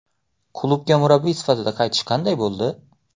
Klubga murabbiy sifatida qaytish qanday bo‘ldi?